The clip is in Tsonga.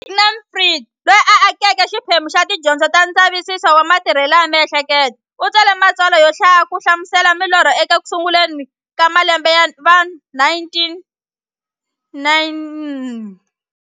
Sigmund Freud, loyi a akeke xiphemu xa tidyondzo ta ndzavisiso wa matirhele ya mihleketo, u tsale matsalwa yo hlaya ku hlamusela milorho eku sunguleni ka malembe ya va 1900.